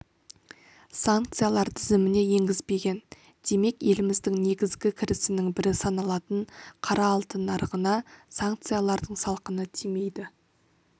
санкциялар тізіміне енгізбеген демек еліміздің негізігі кірісінің бірі саналатын қара алтын нарығына санкциялардың салқыны тимейді